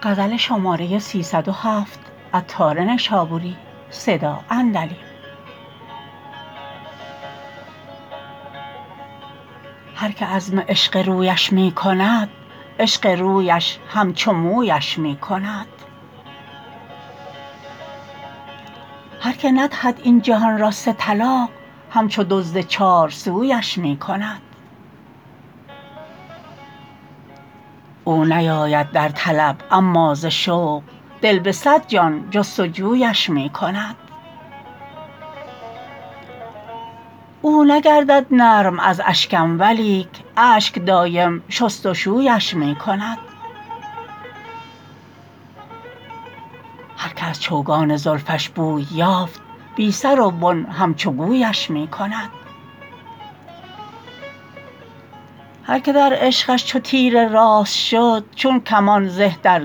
هر که عزم عشق رویش می کند عشق رویش همچو مویش می کند هر که ندهد این جهان را سه طلاق همچو دزد چار سویش می کند او نیاید در طلب اما ز شوق دل به صد جان جستجویش می کند او نگردد نرم از اشکم ولیک اشک دایم شست و شویش می کند هر که از چوگان زلفش بوی یافت بی سر و بن همچو گویش می کند هر که در عشقش چو تیر راست شد چون کمان زه در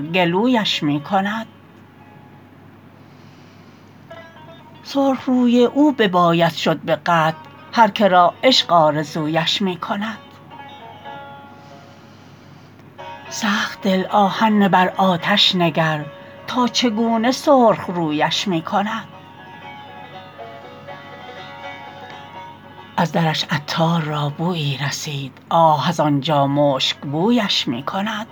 گلویش می کند سرخ روی او بباید شد به قطع هر که را عشق آرزویش می کند سخت دل آهن نه بر آتش نگر تا چگونه سرخ رویش می کند از درش عطار را بویی رسید آه از آنجا مشک بویش می کند